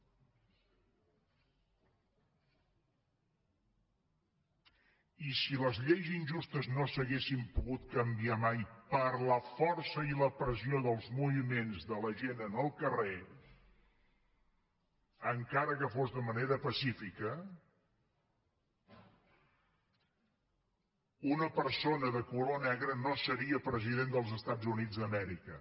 i si les lleis injustes no s’haguessin pogut canviar mai per la força i la pressió dels moviments de la gent en el carrer encara que fos de manera pacífica una persona de color negre no seria president dels estats units d’amèrica